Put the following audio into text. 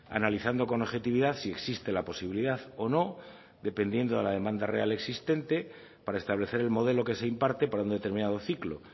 analizando con objetividad si existe la posibilidad o no dependiendo de la demanda real existente para establecer el modelo que se imparte para un determinado ciclo